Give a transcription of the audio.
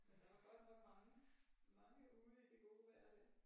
Men der var godt nok mange mange ude i det gode vejr der